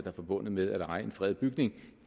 er forbundet med at eje en fredet bygning